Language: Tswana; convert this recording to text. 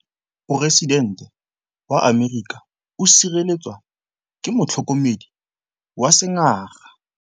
Poresitêntê wa Amerika o sireletswa ke motlhokomedi wa sengaga.